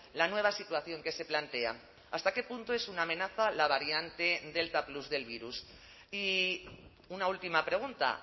la nueva situación que se plantea hasta qué punto es una amenaza la variante delta plus del virus y una última pregunta